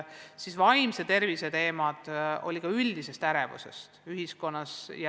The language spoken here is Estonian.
Oli ka vaimse tervise teemasid seoses üldise ärevusega ühiskonnas.